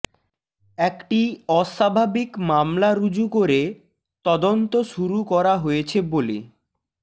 একটি অস্বাভাবিক মামলা রুজু করে তদন্ত শুরু করা হয়েছে বলে